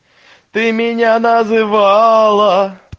ты меня называла